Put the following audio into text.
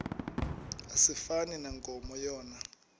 asifani nankomo yona